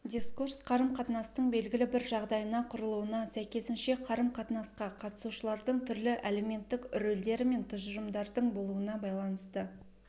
дискурс қарым-қатынастың белгілі бір жағдайына құрылуына сәйкесінше қарым-қатынасқа қатысушылардың түрлі әлеуметтік рөлдері мен тұжырымдардың болуына байланысты